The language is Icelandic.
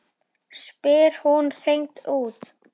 spyr hún hreint út.